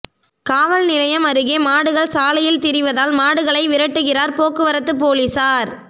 காவல் நிலையம் அருகே மாடுகள் சாலையில் திரிவதால் மாடுகளை விரட்டுகிறார் போக்குவரத்து போலீஸ்காரர்